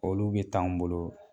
Olu bɛ taa an bolo